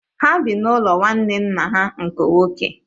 Ha bi n’ụlọ nwanne nna ha nke nwoke.